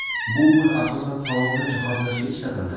Bu pul asosan salonni jihozlashga ishlatildi.